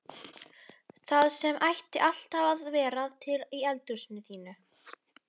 Það sem ætti alltaf að vera til í eldhúsinu þínu!